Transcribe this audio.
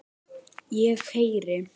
Ég heyri.